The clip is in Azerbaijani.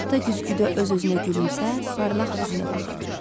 Gah da güzgüdə öz-özünə gülümsər, parlaq izinə baxırdı.